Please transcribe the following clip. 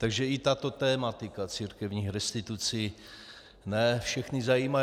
Takže i tato tematika církevních restitucí ne všechny zajímá.